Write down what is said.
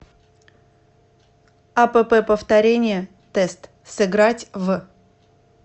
апп повторение тест сыграть в